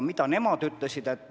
Mida inimesed ütlesid?